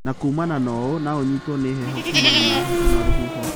Na kũmana na ũũ, no ũnyĩtwo nĩ homa kuumana na heho na rũhuho.